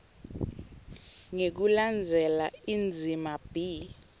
ngekulandzela indzima b